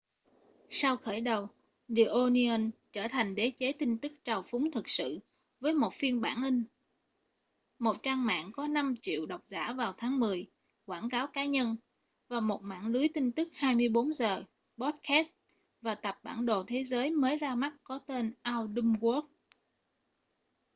sau khởi đầu the onion trở thành đế chế tin tức trào phúng thực sự với một phiên bản in một trang mạng có 5.000.000 độc giả vào tháng mười quảng cáo cá nhân và một mạng lưới tin tức 24 giờ podcast và tập bản đồ thế giới mới ra mắt có tên our dumb world